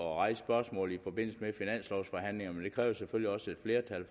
rejse spørgsmålet i forbindelse med finanslovforhandlingerne men det kræver selvfølgelig også et flertal